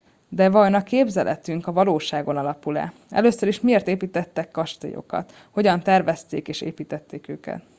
de vajon a képzeletünk a valóságon alapul e először is miért építettek kastélyokat hogyan tervezték és építették őket